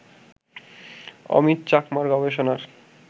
অমিত চাকমার গবেষণার